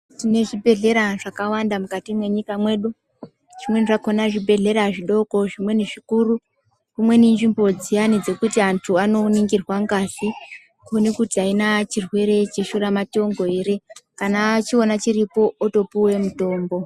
Tine zvi bhedhlera zvakawanda mukati mwenyika medu zvimeeni zvakona zvi bhedhlera zvidoko zvimweni zvikuru zvimweni inzvimbo dziyani dzekuti antu ano ningirwa ngazi kuona kuti aina chirwere cheshura matongo ere kana achiona chiripo otopuwe mutombo.